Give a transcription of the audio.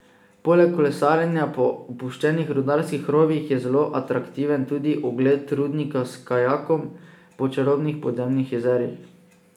Poleg kolesarjenja po opuščenih rudarskih rovih je zelo atraktiven tudi ogled rudnika s kajakom po čarobnih podzemnih jezerih.